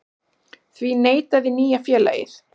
Því neitaði nýja félagið